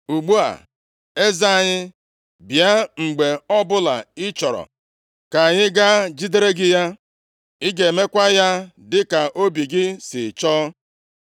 Ugbu a, eze anyị, bịa mgbe ọbụla ị chọrọ, ka anyị gaa jidere gị ya. Ị ga-emekwa ya dịka obi gị sị chọọ.”